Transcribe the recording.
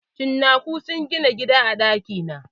Cinnako sun gina gida a ɗaki na.